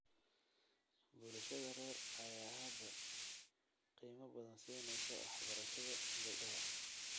Bulshada rer ayaa hadda qiimo badan siinaysa waxbarashada gabdhaha.